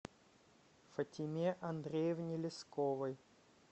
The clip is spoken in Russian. фатиме андреевне лесковой